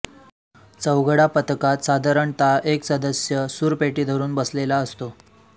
चौघडा पथकात साधारणतः एक सदस्य सूरपेटी धरून बसलेला असतो